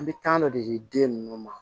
An bɛ tan dɔ de di den ninnu ma